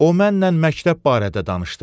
O mənlə məktəb barədə danışdı.